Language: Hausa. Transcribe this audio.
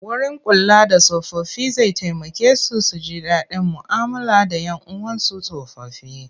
Wurin kula da tsofaffi zai taimaka su ji daɗin mu'amala da 'yan uwansu tsofaffi.